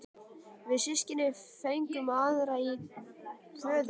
Við systkinin fengum aðra í föðurarf.